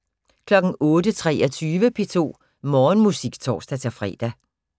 08:23: P2 Morgenmusik (tor-fre)